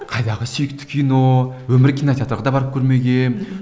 қайдағы сүйікті кино өмірі кинотеатрға да барып көрмегенмін